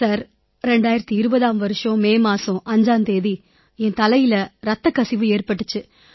sir 2020ஆம் ஆண்டு May மாதம் 5ஆம் தேதி என் தலையில ரத்தக்கசிவு ஏற்பட்டிச்சு